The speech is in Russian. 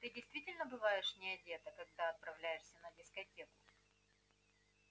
ты действительно бываешь не одета когда отправляешься на дискотеку